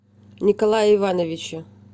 николае ивановиче